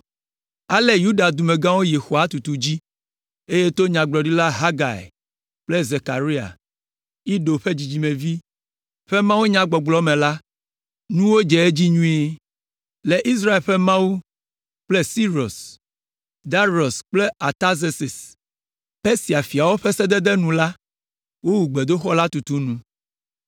Ale Yuda dumegãwo yi xɔa tutu dzi, eye to Nyagblɔɖila Hagai kple Zekaria, Ido ƒe dzidzimevi ƒe mawunyagbɔgblɔ me la, nuwo dze edzi nyuie. Le Israel ƒe Mawu kple Sirus, Darius kple Artazerses, Persia fiawo ƒe sededewo nu la, wowu gbedoxɔ la tutu nu.